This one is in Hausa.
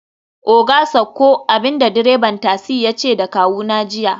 oga sauko!, abinda direban tasi yace da kawuna jiya